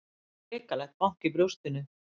Hrikalegt bank í brjóstinu.